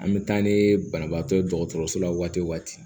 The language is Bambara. An bɛ taa ni banabaatɔ ye dɔgɔtɔrɔso la waati o waati